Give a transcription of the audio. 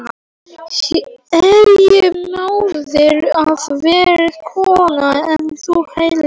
Er ég móðir eða verri kona en þú hélst?